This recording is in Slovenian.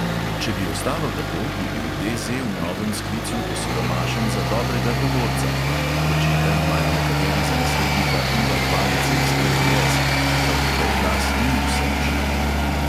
Če bi ostalo tako, bi bil DZ v novem sklicu osiromašen za dobrega govorca (pečeta imajo nekateri za naslednika iva hvalice iz SDS, čeprav njegov glas ni vsem všeč).